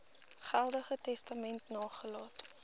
geldige testament nagelaat